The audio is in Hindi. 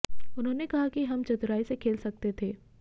उन्होंने कहा कि हम चतुराई से खेल सकते थे